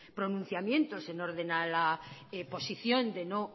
pronunciamientos en orden a la posición de no